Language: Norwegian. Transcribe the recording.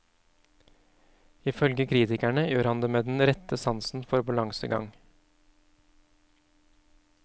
Ifølge kritikerne gjør han det med den rette sansen for balansegang.